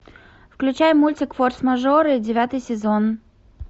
включай мультик форс мажоры девятый сезон